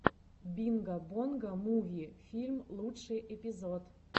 бинго бонго муви филм лучший эпизод